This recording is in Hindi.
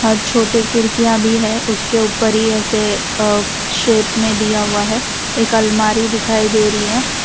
और छोटे खिड़कियां भी है उसके ऊपर ही ऐसे शेप में दिया हुआ है एक अलमारी दिखाई दे रही है।